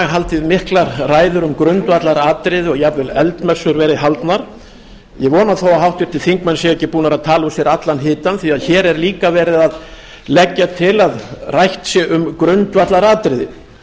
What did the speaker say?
haldið miklar ræður um grundvallaratriði og jafnvel eldmessur verið haldnar ég vona þó að háttvirtir þingmenn séu ekki búnir að tala úr sér allan hitann því að hér er líka verið að leggja til að rætt sé um grundvallaratriði